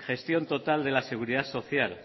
gestión total de la seguridad social